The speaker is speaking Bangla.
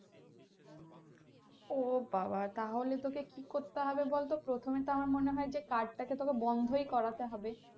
ও বাবা তাহলে তোকে কি করতে হবে বলতো প্রথমে তো আমার মনে হয় যে card টাকে তোকে বন্ধই করাতে হবে।